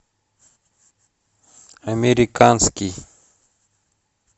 американский